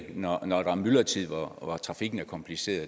når når der er myldretid hvor trafikken er kompliceret